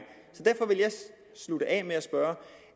slutte af med at spørge